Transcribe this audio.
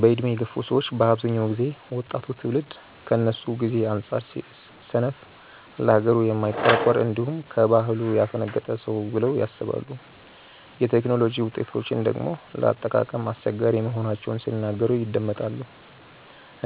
በዕድሜ የገፉ ሰዎች በአብዛኛው ጊዜ ወጣቱ ትውልድ ከነሱ ጊዜ አንጻር ሰነፍ፣ ለሀገሩ የማይቆረቆር፣ እንዲሁም ከባህሉ ያፈነገጠ ነው ብለው ያስባሉ። የቴክኖሎጂ ውጤቶችን ደግሞ ለአጠቃቀም አስቸጋሪ መሆናቸውን ሲናገሩ ይደመጣል።